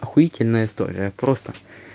ахуительная история просто